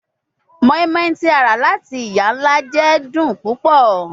Moinmoin ti a ra lati iya-nla jẹ dun pupọ